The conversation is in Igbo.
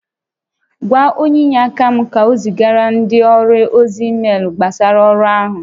Gwa onye inyeaka m ka o zigara ndị ọrụ ozi meelu gbasara ọrụ áhụ